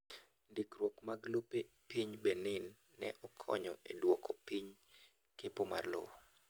Ndikruok mag lopee piny Benin ne okonyo e duoko piny kepo mar lowo.